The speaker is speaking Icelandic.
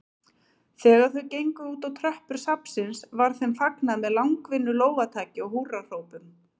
Þegar þau gengu útá tröppur safnsins var þeim fagnað með langvinnu lófataki og húrrahrópum.